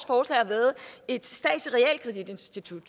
forslag har været et statsligt